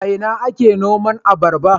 A ina ake noman abarba?